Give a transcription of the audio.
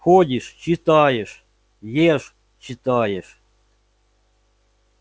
ходишь читаешь ешь читаешь